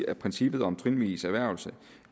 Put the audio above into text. er princippet om trinvis erhvervelse